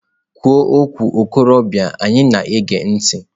Kwuo nwa okorobịa anyị na-ege ntị!.